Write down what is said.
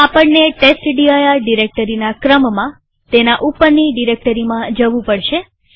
તો આપણને ટેસ્ટડિર ડિરેક્ટરીના ક્રમમાં તેના ઉપરની ડિરેક્ટરીમાં જવું પડશે